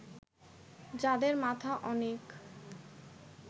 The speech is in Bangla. যাদের মাথা অনেক